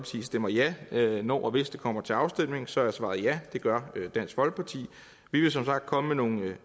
stemmer ja når og hvis det kommer til afstemning så er svaret ja det gør dansk folkeparti vi vil som sagt komme med nogle